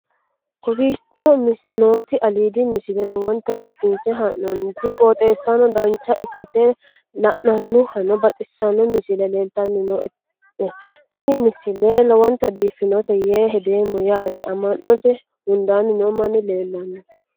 kowicho nooti aliidi misile lowonta biifinse haa'noonniti qooxeessano dancha ikkite la'annohano baxissanno misile leeltanni nooe ini misile lowonta biifffinnote yee hedeemmo yaate amma'note hundaanni noo manni leellanno